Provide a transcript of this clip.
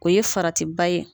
O ye farati ba ye.